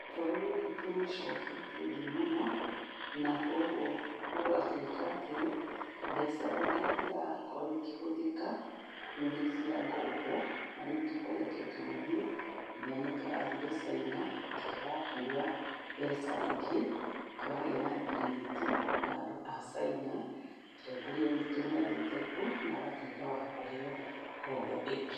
Bũrũrĩ witũ nĩ ũcoke thĩ mũno, na kogũo gũgatũĩka atĩ mbeca irĩa irakorũo ikĩhuthĩka nĩ cia ngombo, na rĩũ tũkoretwo tũgĩthiĩ nja, nĩtũrathire Caina tũrakũa mbeca ingĩ, tũragia na ngirimiti na andũ ta Caina. Mũtongoria witũ nĩathiĩte kuo na agatũĩka wa kũheo ngombo ĩngĩ.